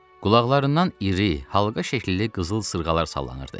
Qulaqlarından iri, halqa şəkilli qızıl sırğalar sallanırdı.